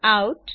out